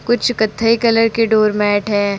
कुछ कत्थई कलर के डोर मैट है।